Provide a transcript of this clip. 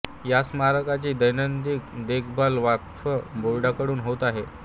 या स्मारकाची दैनंदिन देखभाल वक्फ बोर्डाकडून होत आहे